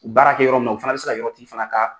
baara kɛ yɔrɔ min na u fana bɛ se ka yɔrɔ tigi fana ka